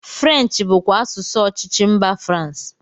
French bụkwa asụsụ ọchịchị mba France